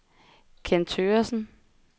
Kenn Thøgersen